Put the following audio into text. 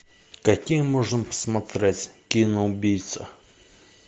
какие можно посмотреть кино убийца